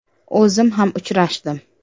O‘zim ham uchrashdim.